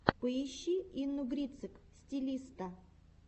поищи инну грицык стилиста